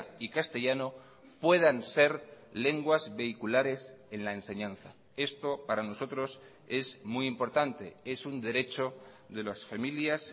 y castellano puedan ser lenguas vehiculares en la enseñanza esto para nosotros es muy importante es un derecho de las familias